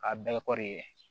A bɛɛ kɔri ye